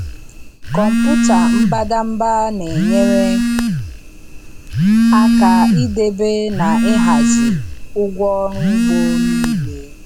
Kọmpụta mbadamba na-enyere aka ịdebe na ịhazie ụgwọ ọrụ ugbo niile.